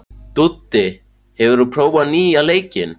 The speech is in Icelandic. Dúddi, hefur þú prófað nýja leikinn?